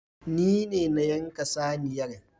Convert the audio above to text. Nine na yanka saniyar